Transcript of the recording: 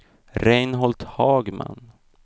Reinhold Hagman